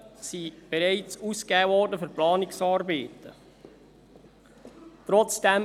Knapp 10 Mio. Franken wurden für Planungsarbeiten bereits ausgegeben.